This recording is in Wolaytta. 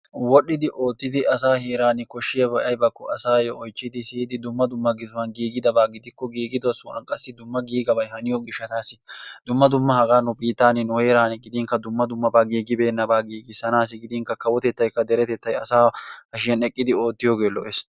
wodhdhidi oottidi asayyo koshshiyaabay aybbakko asaa heeran siyyidi dumma dumma giziuwan giigidabaa gidikko giigido sohuwan qassi dumma giigaabay haniyo gishshatassi dumma dumma hagaa nu biittan, nu heeran gidinkka dumma dummaba giigibeenaba giigissanassi gidinkka kawotettay deretettay asaa hashshiyan eqqidi oottiyooge lo''es.